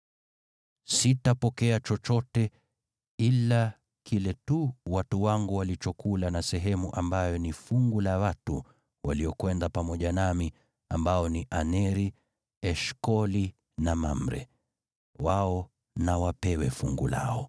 Sitapokea chochote, ila kile tu watu wangu walichokula na sehemu ambayo ni fungu la watu waliokwenda pamoja nami, ambao ni Aneri, Eshkoli na Mamre. Wao na wapewe fungu lao.”